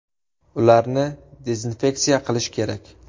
Ularni dezinfeksiya qilish kerak”.